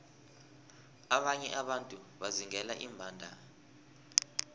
abanye abantu bazingela iimbandana